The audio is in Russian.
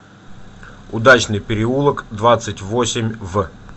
удачный переулок двадцать восемь в